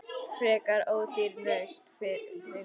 Frekar ódýr lausn, finnst mér.